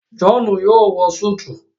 John yóò wọ Súìtì